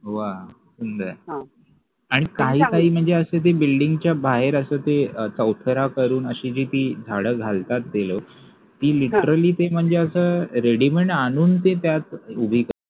व्वा आणि काही काही म्हणजे ते building च्या बाहेर असं ते चौथरा करून असं ते झाडं घालतात ते लोक ते म्हणजे ते literally असं ready-made आणून ते त्यात उभी करतात